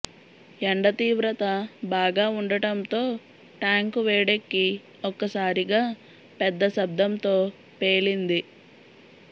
ఎండ తీవ్రత బాగా ఉండటంతో ట్యాంకు వేడెక్కి ఒక్కసారిగా పెద్ద శబ్దంతో పేలింది